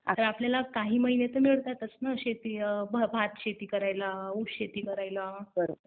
आता आपल्याला काही महिने तर मिळतातच ना भातशेती करायला, ऊस शेती करायला.